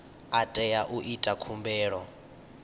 a teaho u ita khumbelo